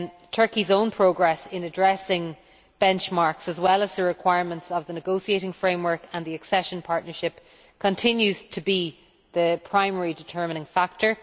Turkey's own progress in addressing benchmarks, as well as the requirements of the negotiating framework and the accession partnership, continues to be the primary determining factor.